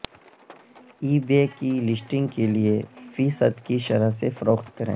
ای بے کی لسٹنگ کے لئے فی صد کی شرح سے فروخت کریں